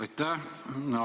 Aitäh!